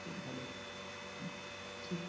খুব ভালো ঠিক